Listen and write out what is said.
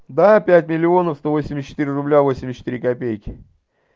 да пять миллионов сто восемьдесят четыре рубля восемьдесят четыре копейки